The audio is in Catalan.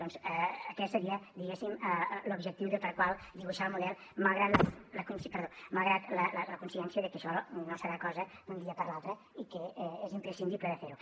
doncs aquest seria diguéssim l’objectiu pel qual dibuixar el model malgrat la consciència de que això no serà cosa d’un dia per l’altre i que és imprescindible de fer ho